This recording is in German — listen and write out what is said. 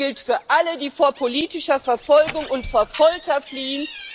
Es gilt für alle, die vor politischer Verfolgung und vor Folter fliehen.